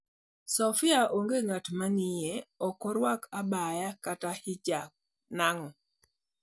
Sophia onge ngat mang'iye, okorwak abaya kata hijab nango?